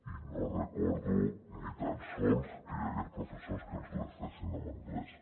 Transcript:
i no recordo ni tan sols que hi hagués professors que ens les fessin en anglès